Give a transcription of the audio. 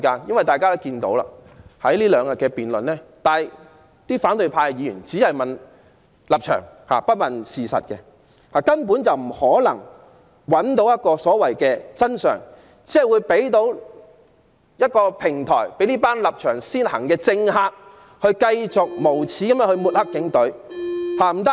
在過去兩天的辯論中，反對派議員只問立場，不問事實，根本不可能找到所謂的真相，只是提供一個平台讓這班立場先行的政客繼續無耻地抹黑警隊。